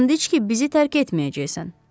And iç ki, bizi tərk etməyəcəksən.